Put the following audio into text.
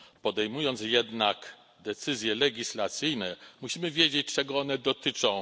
Podejmując jednak decyzje legislacyjne, musimy wiedzieć, czego one dotyczą.